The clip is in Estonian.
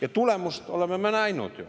Ja tulemust me oleme ju näinud.